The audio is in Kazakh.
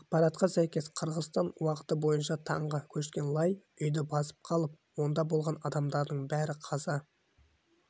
ақпаратқа сәйкес қырғызстан уақыты бойынша таңғы көшкен лай үйді басып қалып онда болған адамдардың бәрі қаза